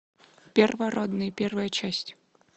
первородные первая часть